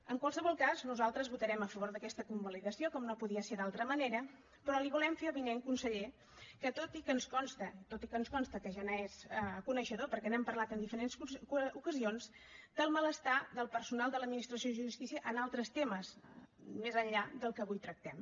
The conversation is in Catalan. en qualsevol cas nosaltres votarem a favor d’aquesta convalidació com no podia ser d’altra manera però li volem fer avinent conseller tot i que ens consta tot i que ens consta que ja n’és coneixedor perquè n’hem parlat en diferents ocasions el malestar del personal de l’administració de justícia en altres temes més enllà del que avui tractem